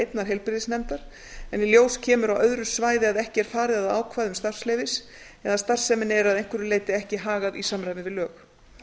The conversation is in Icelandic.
einnar heilbrigðisnefndar en í ljós kemur á öðru svæði að ekki er farið að ákvæðum starfsleyfis eða starfsemin er að einhverju leyti ekki hagað í samræmi við lög